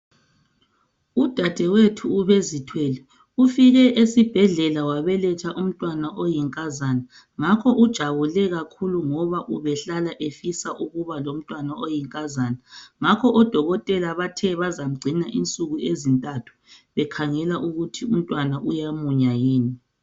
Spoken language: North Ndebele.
Udadewethu ubezithwele ufike esibhedlela wabeletha umntwana oyinkazana ngakho ujabule kakhulu ngoba ubehlala efisa ukuba lomntwana oyinkazana. Ngakho odokotela bathe bazamgcina okwensuku ezintathu bekhangela ukuthi umntwana uyamunya yini.